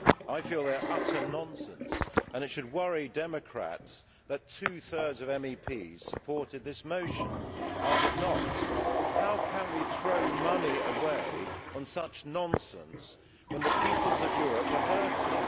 I feel that they are utter nonsense and it should worry democrats that two thirds of MEPs supported this motion. I did not. How can we throw money away on such nonsense when the peoples of Europe are hurting?